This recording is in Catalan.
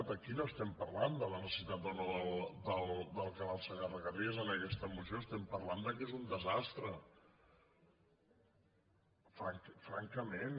aquí no estem parlant de la necessitat o no del canal segarra garrigues en aquesta moció estem parlant que és un desastre francament